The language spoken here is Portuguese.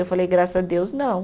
Eu falei, graças a Deus, não.